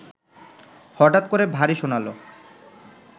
হঠাৎ করে ভারী শোনাল